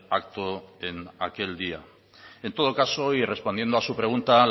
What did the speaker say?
acto en aquel día en todo caso y respondiendo a su pregunta